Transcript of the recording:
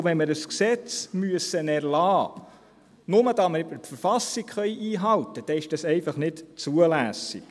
Wenn wir ein Gesetz erlassen müssen, nur damit wir die Verfassung einhalten können, ist dies einfach nicht zulässig.